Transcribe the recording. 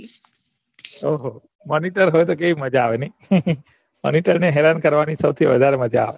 ઓહો monitor હોય તો કેવી મજા આવે નઈ monitor ને હેરાન કરવાની સૌથી વધારે મજા આવે